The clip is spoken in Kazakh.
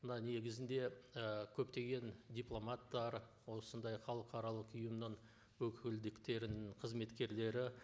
мына негізінде і көптеген дипломаттар осындай халықаралық ұйымның өкілдіктерінің қызметкерлері